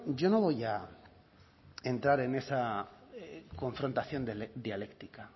yo no voy a entrar en esa confrontación dialéctica